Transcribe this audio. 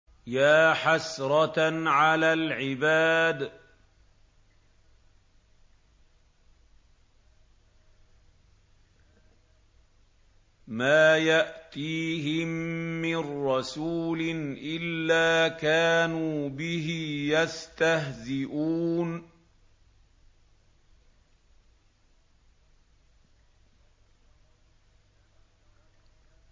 يَا حَسْرَةً عَلَى الْعِبَادِ ۚ مَا يَأْتِيهِم مِّن رَّسُولٍ إِلَّا كَانُوا بِهِ يَسْتَهْزِئُونَ